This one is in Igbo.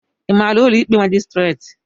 Ị maara ụlọ ikpe majistret?